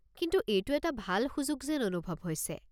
কিন্তু এইটো এটা ভাল সুযোগ যেন অনুভৱ হৈছে।